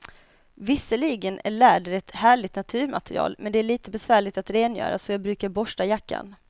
Visserligen är läder ett härligt naturmaterial, men det är lite besvärligt att rengöra, så jag brukar borsta jackan.